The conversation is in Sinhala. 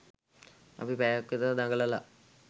අපි පැයක් විතර දඟලලා